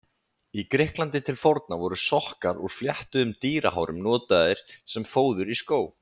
Í Grikklandi til forna voru sokkar úr fléttuðum dýrahárum notaðir sem fóður í skó.